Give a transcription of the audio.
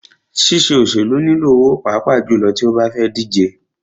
Ṣíṣe òṣèlú nilò owó pàápàá jùlọ tí o bá fẹ́ díje.